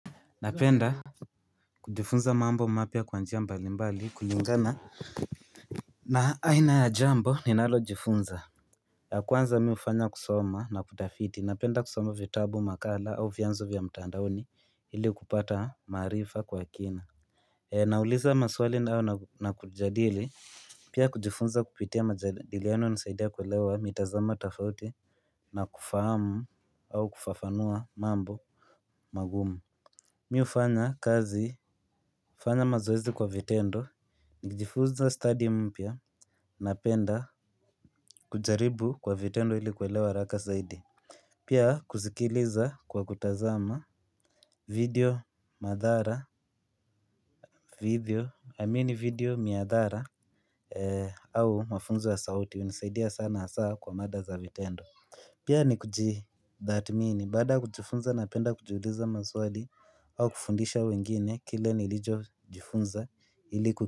Napenda kujifunza mambo mapya kwa njia mbali mbali kulingana na aina ya jambo ni nalo jifunza. Ya kwanza mi ufanya kusoma na kutafiti napenda kusoma vitabu makala au vyanzo vya mtandaoni hili kupata maarifa kwa kina. Nauliza maswali na kujadili pia kujifunza kupitia majadiliano nisaidia kulewa mitazamo tofauti na kufahamu au kufafanua mambo magumu. Mi ufanya kazi, ufanya mazoezi kwa vitendo, ni kijifunza study mpya, napenda, kujaribu kwa vitendo ili kuelewa haraka zaidi. Pia kusikiliza kwa kutazama, video, miadhara, au mafunzo ya sauti, unisaidia sana hasaa kwa mada za vitendo. Pia ni kujitathmini baada ya kujifunza napenda kujiuliza maswali au kufundisha wengine kile nilichojifunza iliku.